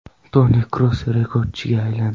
Toni Kroos rekordchiga aylandi.